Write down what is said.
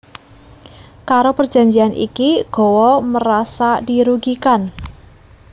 Karo perjanjian iki Gowa merasa dirugikan